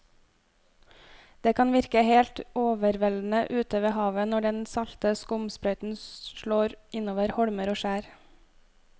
Det kan virke helt overveldende ute ved havet når den salte skumsprøyten slår innover holmer og skjær.